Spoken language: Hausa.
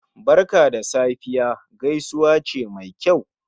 "Barka da Safiya" gaisuwa ce Mai kyau